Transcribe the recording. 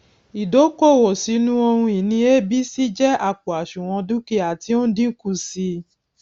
ídókòwó sínu ohun ìní abc jẹ àpò àṣùwòn dúkìá tí ó n dínkù sí i